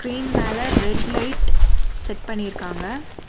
Screen மேல red light set பண்ணிருக்காங்க.